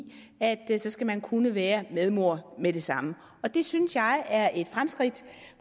at så skal man kunne være medmor med det samme det synes jeg er et fremskridt